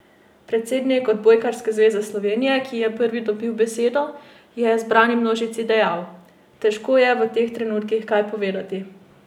Predsednik Odbojkarske zveze Slovenije, ki je prvi dobil besedo, je zbrani množici dejal: "Težko je v teh trenutkih kaj povedati.